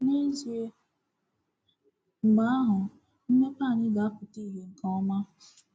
N’ezie, mgbe ahụ, mmepe anyị ga-apụta ìhè nke ọma.